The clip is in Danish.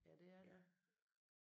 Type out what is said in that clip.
Ja det er det